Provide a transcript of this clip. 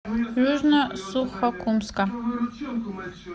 южно сухокумска